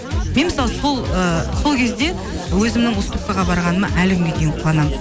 мен мысалы сол ы сол кезде өзімнің уступкаға барғаныма әлі күнге дейін қуанамын